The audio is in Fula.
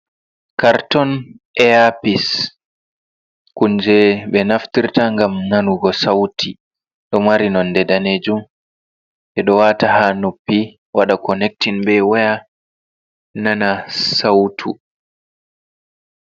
Carton eapis kunje be naftirta ngam nanugo sauti, ɗo mari nonde danejum ɓeɗo wata ha nopi waɗa connecting be waya nana sautu.